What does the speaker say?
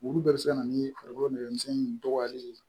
Olu bɛɛ bɛ se ka na ni farikolo nɛgɛmisɛnninw dogoyali ye